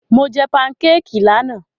Mo jẹ pankékì lánàá.